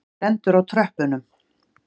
Stendur á tröppunum.